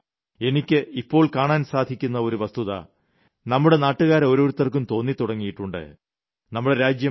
മാത്രമല്ല എനിക്ക് ഇപ്പോൾ കാണാൻ സാധിക്കുന്ന ഒരു വസ്തുത നമ്മുടെ നാട്ടുകാരോരോരുത്തർക്കും തോന്നിത്തുടങ്ങിയിട്ടുണ്ട്